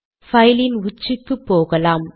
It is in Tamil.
பைலின் உச்சிக்கு போகலாம்